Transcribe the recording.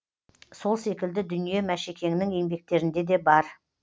сол секілді дүние мәшекеңнің еңбектерінде де бар